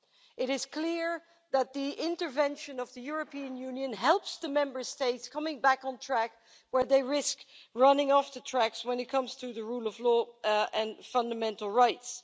It is clear that the intervention of the European Union helps the Member States come back on track where they risked running off the tracks when it comes to the rule of law and fundamental rights.